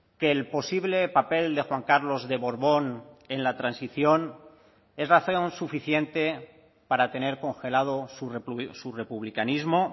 que el posible papel de juan carlos de borbón en la transición es razón suficiente para tener congelado su republicanismo